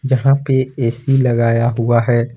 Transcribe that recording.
जहां पे ए_सी लगाया हुआ है।